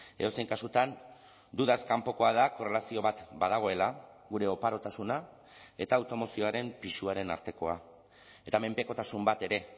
edozein kasutan dudaz kanpokoa da korrelazio bat badagoela gure oparotasuna eta automozioaren pisuaren artekoa eta menpekotasun bat ere